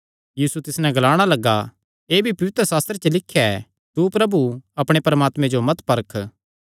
यीशु तिस नैं ग्लाणा लग्गा एह़ भी पवित्रशास्त्रे च लिख्या ऐ तू प्रभु अपणे परमात्मे जो मत परख